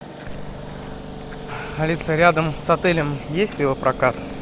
алиса рядом с отелем есть велопрокат